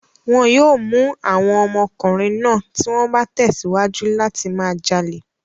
Wọn yóò mú àwọn ọmọkùnrin náà tí wọ́n bá tẹ̀síwájú láti máa jalè.